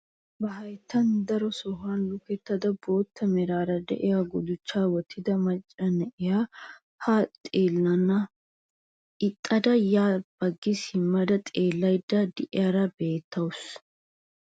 Ba hayttaa daro sohuwaan lukkada bootta meraara de'iyaa guduchchaa wottida macca na'iyaa haa xeellenana ixxada ya baggi simma xeellayda de'iyaara beettawus.